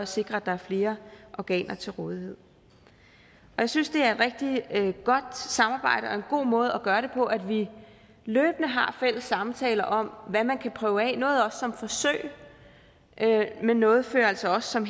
sikre at der er flere organer til rådighed jeg synes det er et rigtig godt samarbejde og en god måde at gøre det på at vi løbende har fælles samtaler om hvad man kan prøve af noget også som forsøg men noget fører altså også som